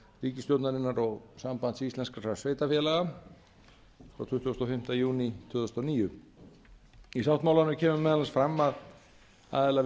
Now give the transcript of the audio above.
ríkisstjórnarinnar og sambands íslenskra sveitarfélaga frá tuttugasta og fimmta júní tvö þúsund og níu í sáttmálanum kemur meðal annars fram að aðilar